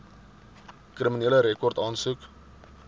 kriminele rekord aansoek